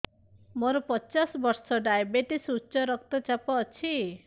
ମୋର ପଚାଶ ବର୍ଷ ଡାଏବେଟିସ ଉଚ୍ଚ ରକ୍ତ ଚାପ ଅଛି